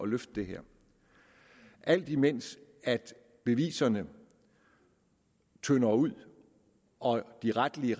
løfte det her alt imens beviserne tynder ud og de retlige